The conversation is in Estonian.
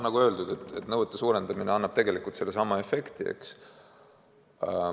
Nagu öeldud, nõuete karmistamine annab tegelikult sellesama efekti.